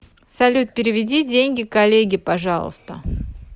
салют переведи деньги коллеге пожалуйста